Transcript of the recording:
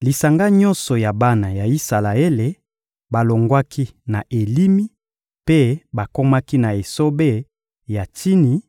Lisanga nyonso ya bana ya Isalaele balongwaki na Elimi mpe bakomaki na esobe ya Tsini,